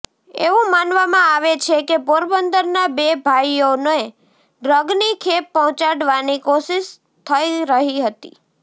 એવું માનવામાં આવે છે કે પોરંબદરના બે ભાઈઓને ડ્રગની ખેપ પહોંચાડવાની કોશિશ થઈ રહી હતી